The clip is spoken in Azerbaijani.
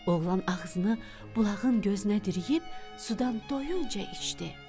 Oğlan ağzını bulağın gözünə diriyib sudan doyunca içdi.